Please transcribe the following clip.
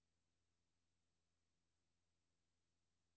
tusinde tusinde tusinde